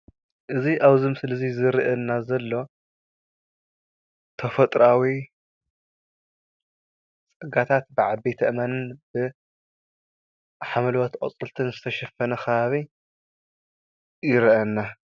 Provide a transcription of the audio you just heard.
እዚ አብዚ ምስሊ እዚ ዝርእየና ዘሎ ተፍጥሮአዊ ፀጋታት ብዓበይቲ አእማንን ብሓምለዎት ቆፅልታት ዝተሸፈነ ከባቢ ይረአየና።